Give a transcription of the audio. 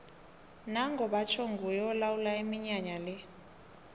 nango batjho nguye olawula iminyanya le